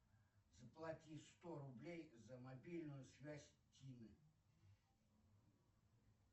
заплати сто рублей за мобильную связь тины